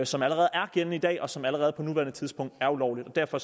som allerede er gældende i dag om noget som allerede på nuværende tidspunkt er ulovligt og derfor